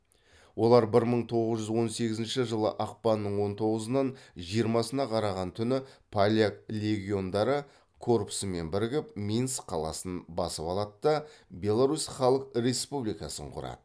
олар бір мың тоғыз жүз он сегізінші жылы ақпанның он тоғызынан жиырмасына қараған түні поляк легиондары корпусымен бірігіп минск қаласын басып алады да беларусь халық республикасын құрады